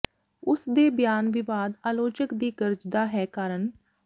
ਉਸ ਦੇ ਬਿਆਨ ਵਿਵਾਦ ਆਲੋਚਕ ਦੀ ਗਰਜਦਾ ਹੈ ਕਾਰਨ